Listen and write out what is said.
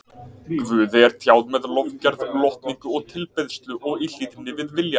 Guði er tjáð með lofgerð, lotningu og tilbeiðslu og í hlýðni við vilja